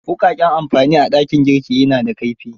Wuƙaƙen amamfani a dakin gurki na da kaifi.